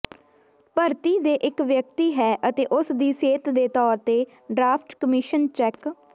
ਭਰਤੀ ਦੇ ਇੱਕ ਵਿਅਕਤੀ ਹੈ ਅਤੇ ਉਸ ਦੀ ਸਿਹਤ ਦੇ ਤੌਰ ਤੇ ਡਰਾਫਟ ਕਮਿਸ਼ਨ ਚੈਕ